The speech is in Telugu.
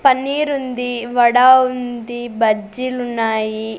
పన్నీరు ఉంది వడ ఉంది బజ్జీలు ఉన్నాయి.